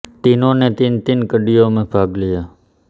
तीनों ने तीन तीन कड़ियों में भाग लिया